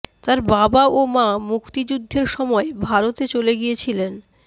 তার বাবা ও মা মুক্তিযুদ্ধের সময় ভারতে চলে গিয়েছিলেন